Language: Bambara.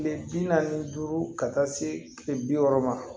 Kile bi naani ni duuru ka taa se kile bi wɔɔrɔ ma